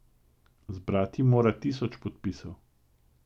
Zbrati mora tisoč podpisov.